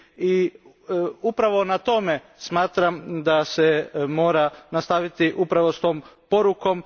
I upravo na tome smatram da se mora nastaviti upravo s tom porukom.